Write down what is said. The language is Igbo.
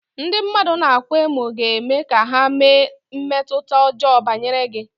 Ndị mmadụ na-akwa emo ga-eme ka ha nwee mmetụta ọjọọ banyere gị.